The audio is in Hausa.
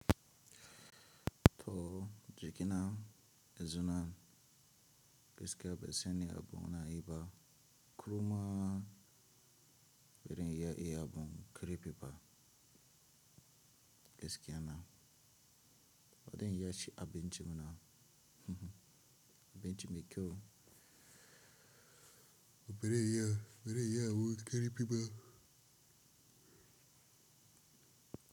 To jikina izuna keskiya be seni abu na yi ba kuruma berin iya iya bun kerepi ba keskiya na. Wadan ya ci abinci muna abinci mai kyau. Beri iya, beri iya wu kerepi ba.